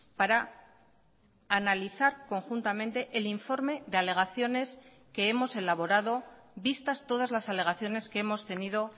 para analizar conjuntamente el informe de alegaciones que hemos elaborado vistas todas las alegaciones que hemos tenido